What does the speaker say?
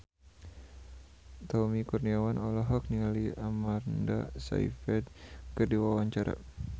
Tommy Kurniawan olohok ningali Amanda Sayfried keur diwawancara